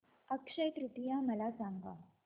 अक्षय तृतीया मला सांगा